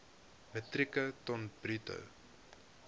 metrieke ton bruto